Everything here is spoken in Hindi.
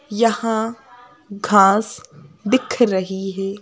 यहां घास दिख रही है।